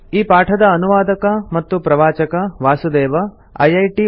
ಈ ಪಾಠದ ಅನುವಾದಕ ಮತ್ತು ಪ್ರವಾಚಕ ವಾಸುದೇವ ಐಐಟಿ